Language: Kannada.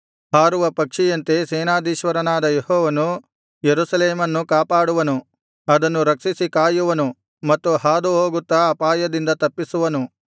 ಹಾರುವ ಪಕ್ಷಿಯಂತೆ ಸೇನಾಧೀಶ್ವರನಾದ ಯೆಹೋವನು ಯೆರೂಸಲೇಮನ್ನು ಕಾಪಾಡುವನು ಅದನ್ನು ರಕ್ಷಿಸಿ ಕಾಯುವನು ಮತ್ತು ಹಾದುಹೋಗುತ್ತಾ ಅಪಾಯದಿಂದ ತಪ್ಪಿಸುವನು